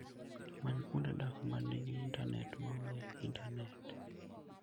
Many kuonde dak ma nigi intanet maonge intanet.